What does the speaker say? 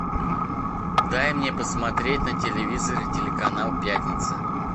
дай мне посмотреть на телевизоре телеканал пятница